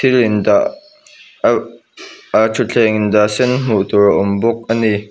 dah a a thutthleng dah sen hmuh tur a awm bawk ani.